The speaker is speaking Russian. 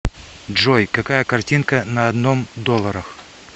джой какая картинка на одном долларах